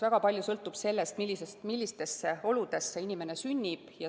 Väga palju sõltub sellest, millistesse oludesse inimene sünnib.